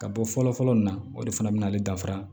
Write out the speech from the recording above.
Ka bɔ fɔlɔ fɔlɔ nin na o de fana bɛna ale dafara